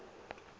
o se wa fana ka